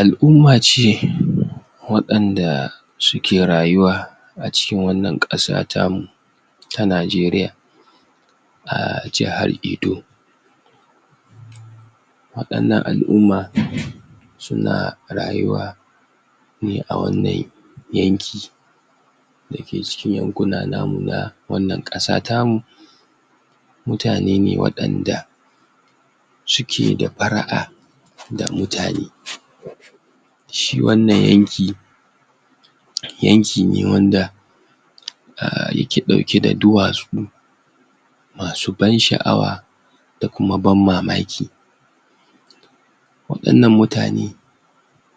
Al'umma ce waɗanda suke rayuwa a cikin wannan ƙasa ta mu ta nijeriya a jahar edo waɗannan al'umma suna rayuwa ne a wannan yanki da ke cikin yankuna na mu na wannan ƙasa ta mu mutane ne waɗanda suke da para'a da mutane shi wannan yanki, yanki ne wanda ya ke ɗauke da duwatsu masu ban sha'awa da kuma ban mamaki waɗannan mutane,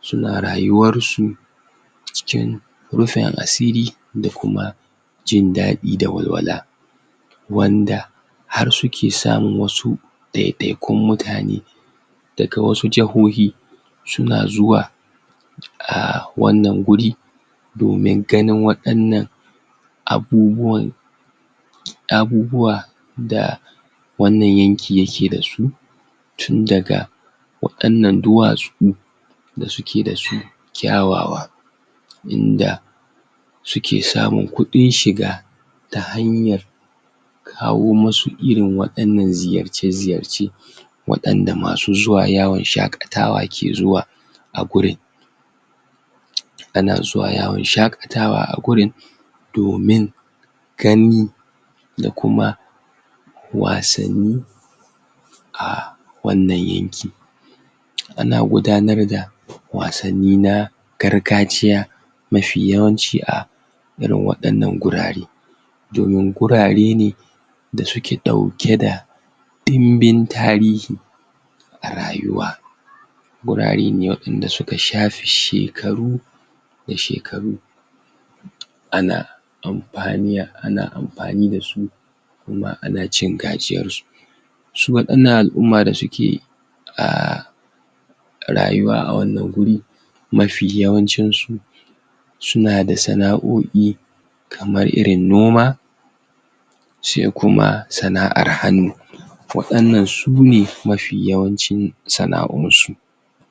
suna rayuwar su cikin rufin asiri da kuma jin daɗi da walwala wanda har suke samun wasu ɗaiɗaikun mutane daga wasu jahohi, suna zuwa a wanin guri domin ganin waɗannan abubuwan abubuwa da wannan yanki yake da su tun daga waɗannan duwatsu da suke da su kyawawa su ke samin kuɗin shiga ta hanyar kawo masu irin waɗannan ziyarce ziyarce waɗanda masu zuwa yawan shaƙatawa ke zuwa a gurin ana zuwa yawan shaƙatawa a gurin domin gani da kuma wasanni a wannan yanki ana gudanar da wasanni na gargajiya mafi yawanci a irin waɗannan gurare domin gurare ne da suke ɗauke da ɗimbin tarihi a rayuwa gurare ne waɗanda suka shafi shekaru da shekaru ana ampani da su kuma ana cin gajiyar su su waɗannan al'umma da suke um rayuwa a wannan guri, mafi yawancin su suna da sana'oi kamar irin noma sai kuma sana'ar hannu waɗannan sune mafi yawancin sana'insu.